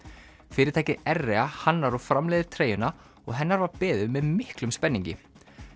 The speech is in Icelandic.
fyrirtækið hannar og framleiðir treyjuna og hennar var beðið með miklum spenningi